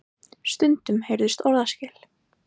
Stundum heyrðust orðaskil.